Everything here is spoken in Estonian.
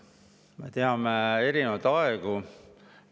Me teame erinevaid aegu.